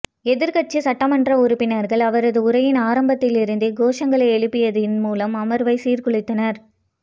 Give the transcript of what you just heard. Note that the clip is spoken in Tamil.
எதிர்க்கட்சி சட்டமன்ற உறுப்பினர்கள் அவரது உரையின் ஆரம்பத்திலிருந்தே கோஷங்களை எழுப்பியதன் மூலமும் அமர்வை சீர்குலைத்தனர்